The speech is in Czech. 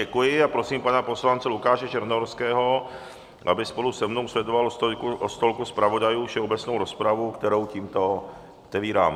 Děkuji a prosím pana poslance Lukáše Černohorského, aby spolu se mnou sledoval od stolku zpravodajů všeobecnou rozpravu, kterou tímto otevírám.